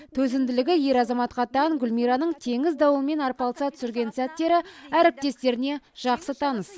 төзімділігі ер азаматқа тән гүлмираның теңіз дауылымен арпалыса түсірген сәттері әріптестеріне жақсы таныс